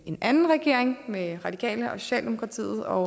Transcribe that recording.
en anden regering med radikale og socialdemokratiet og